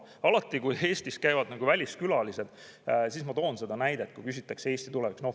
Alati kui Eestis käivad väliskülalised ja küsitakse Eesti kohta, siis ma toon seda näidet.